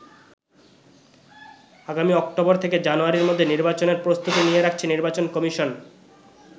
আগামী অক্টোবর থেকে জানুয়ারির মধ্যে নির্বাচনের প্রস্তুতি নিয়ে রাখছে নির্বাচন কমিশন।